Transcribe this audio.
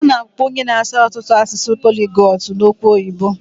A na-akpọ onye na-asụ ọtụtụ asụsụ poligotu n'okwụ oyibo.